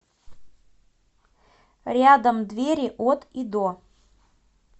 рядом двери от и до